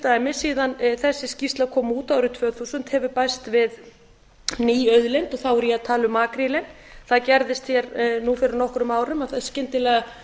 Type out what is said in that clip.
dæmis síðan þessi skýrsla kom út árið tvö þúsund hefur bæst við ný auðlind og þá er ég að tala um makrílinn það gerðist nú fyrir nokkrum árum að skyndilega